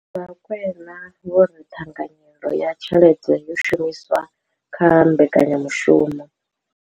Vho Rakwena vho ri ṱhanganyelo ya tshelede yo shumiswaho kha mbekanya mushumo.